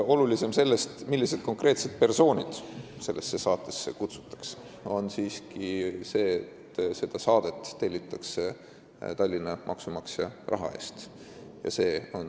Olulisem sellest, millised konkreetsed persoonid saatesse kutsutakse, on siiski see, et seda saadet tellitakse Tallinna maksumaksja raha eest.